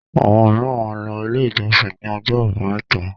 Àwọn mìíràn máa ń lọ Ilé-ìjọsìn ní ọjọ́ àbámẹ́ta.